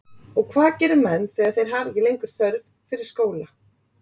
Og hvað gera menn þegar þeir hafa ekki lengur þörf fyrir skóla?